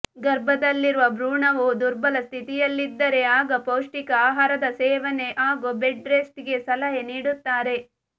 ಗರ್ಭದಲ್ಲಿರುವ ಭ್ರೂಣವು ದುರ್ಬಲ ಸ್ಥಿತಿಯಲ್ಲಿದ್ದರೆ ಆಗ ಪೌಷ್ಟಿಕ ಆಹಾರದ ಸೇವನೆ ಹಾಗೂ ಬೆಡ್ ರೆಸ್ಟ್ ಗೆ ಸಲಹೆ ನೀಡುತ್ತಾರೆ